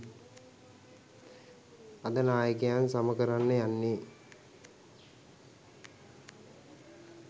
අද නායකයන් සම කරන්න යන්නෙ